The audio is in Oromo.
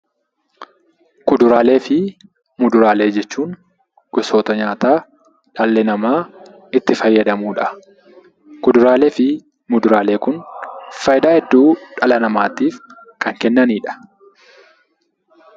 Kuduraalee fi muduraalee jechuun gosoota nyaataa dhalli namaa itti fayyadamuu dha. Kuduraalee fi muduraalee kun faayidaa hedduu dhala namaatiif kan kennanii dha.